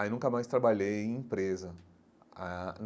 Aí nunca mais trabalhei em empresa.